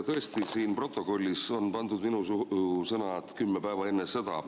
Tõesti, siin protokollis on pandud minu suhu sõnad "kümme päeva enne sõda".